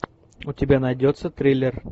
у тебя найдется триллер